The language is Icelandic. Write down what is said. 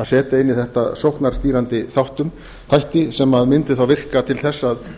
að setja inn í þetta sóknarstýrandi þætti sem mundu þá virka til þess að